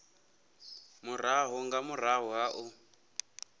murahu nga murahu ha u